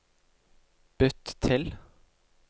bytt til